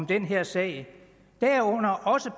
den her sag derunder også